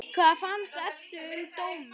Hvað fannst Eddu um dóminn?